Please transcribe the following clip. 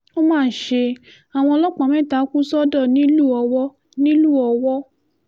ó má ṣe àwọn ọlọ́pàá mẹ́ta kù sọ́dọ̀ nílùú ọwọ́ nílùú ọwọ́